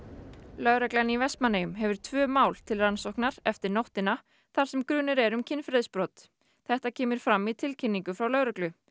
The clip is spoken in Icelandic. lögreglan í Vestmannaeyjum hefur tvö mál til rannsóknar eftir nóttina þar sem grunur er um kynferðisbrot þetta kemur fram í tilkynningu frá lögreglu